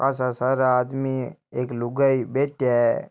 काशा सारा आदमी एक लुगाई बैठया हैं।